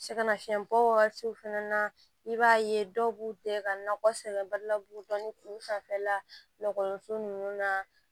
Sɛgɛnnafiɲɛbɔ wagatiw fɛnɛ na i b'a ye dɔw b'u tɛgɛ ka nakɔ sɛbɛn ba la buru dɔ ni kuru sanfɛla lakɔliso ninnu na